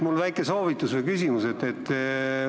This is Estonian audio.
Mul on väike soovitus ja ka veel üks küsimus.